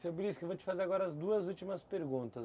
Seu, eu vou te fazer agora as duas últimas perguntas.